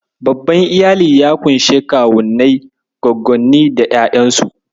Babban Iyali ya ƙunshi Kuwannai, Gwaggonni da ƴaƴansu.